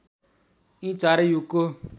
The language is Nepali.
यी चारै युगको